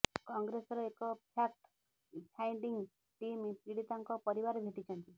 କଂଗ୍ରେସର ଏକ fact finding team ପୀଡ଼ିତାଙ୍କ ପରିବାର ଭେଟିଛନ୍ତି